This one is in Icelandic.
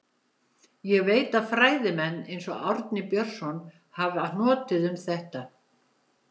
Ég veit að fræðimenn, eins og Árni Björnsson, hafa hnotið um þetta.